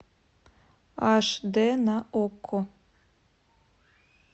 аш д на окко